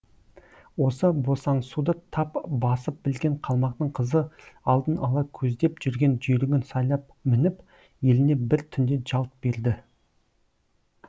осы босаңсуды тап басып білген қалмақтың қызы алдын ала көздеп жүрген жүйрігін сайлап мініп еліне бір түнде жалт берді